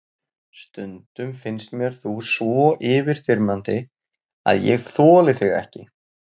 Stundum finnst mér þú svo yfirþyrmandi að ég þoli þig ekki.